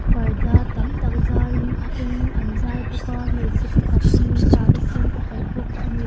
parda tam tak zarin a eng an zar bawk a hmeichhe pakhat awm in sari sen a kaih bawk a ni.